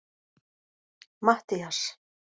Mattías